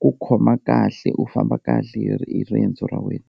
ku khoma kahle u famba kahle hi riendzo ra wena.